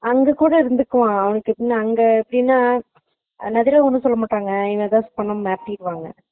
அங்க கூட இருந்துக்குவான் அவனுக்கு கூட எப்பிடின்னா அவங்க எதாச்சும் சொன்ன மாத்திக்குவாங்க